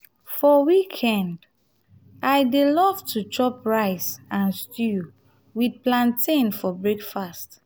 for weekend i dey love to chop rice and stew with plantain for breakfast.